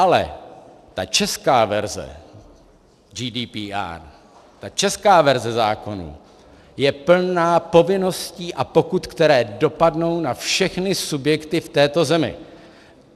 Ale ta česká verze GDPR, ta česká verze zákona je plná povinností a pokut, které dopadnou na všechny subjekty v této zemi.